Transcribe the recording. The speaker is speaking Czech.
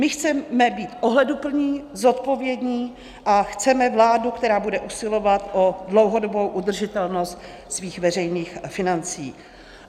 My chceme být ohleduplní, zodpovědní a chceme vládu, která bude usilovat o dlouhodobou udržitelnost svých veřejných financí.